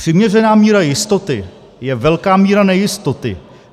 "Přiměřená míra jistoty je velká míra nejistoty.